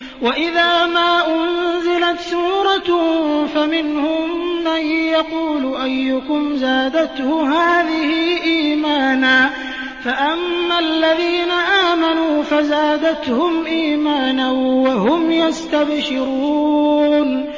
وَإِذَا مَا أُنزِلَتْ سُورَةٌ فَمِنْهُم مَّن يَقُولُ أَيُّكُمْ زَادَتْهُ هَٰذِهِ إِيمَانًا ۚ فَأَمَّا الَّذِينَ آمَنُوا فَزَادَتْهُمْ إِيمَانًا وَهُمْ يَسْتَبْشِرُونَ